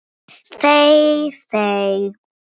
Þey þey!